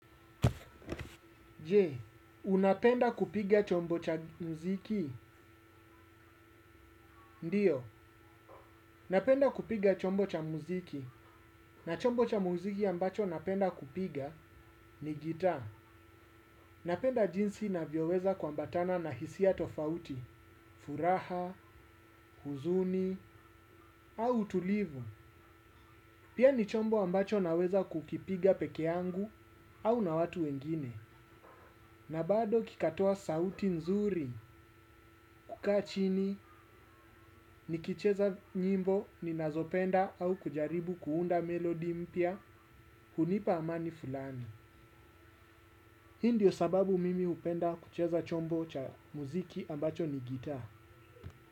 Jee, unapenda kupiga chombo cha mziki? Ndiyo, napenda kupiga chombo cha mziki. Na chombo cha mziki ambacho napenda kupiga ni guitar. Napenda jinsi navyoweza kuambatana na hisia tofauti, furaha, huzuni, au utulivu. Pia ni chombo ambacho naweza kukipiga pekee yangu au na watu wengine na bado kikatoa sauti nzuri kukaa chini nikicheza nyimbo ninazopenda au kujaribu kuunda melodi mpya hunipa amani fulani. Hii ndiyo sababu mimi hupenda kucheza chombo cha muziki ambacho ni guiter.